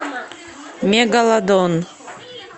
мегалодон